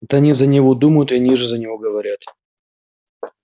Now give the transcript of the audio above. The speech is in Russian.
это они за него думают и они же за него говорят